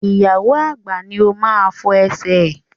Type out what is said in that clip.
Ìyàwó àgbà ní ó máa fọ Ẹsẹ̀ ẹ̀.